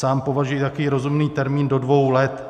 Sám považuji takový rozumný termín do dvou let.